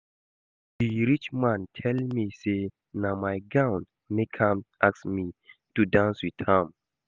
The rich man tell me say na my gown make am ask me to dance with am